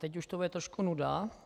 Teď už to bude trošku nuda.